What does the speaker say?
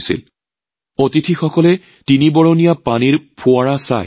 কাৰ্যসূচীত অংশগ্ৰহণ কৰা লোকসকলে ত্ৰিনিবণীয়া পানীৰ ফোৱাৰাটো অতিশয় ভাল পাইছিল